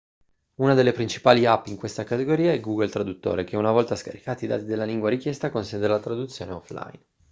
una delle principali app in questa categoria è google traduttore che una volta scaricati i dati della lingua richiesta consente la traduzione offline